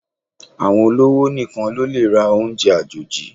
Àwọn olówò nìkan lólè ra oúnjẹ àjòjì